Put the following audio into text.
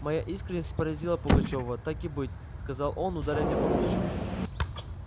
моя искренность поразила пугачёва так и быть сказал он ударя меня по плечу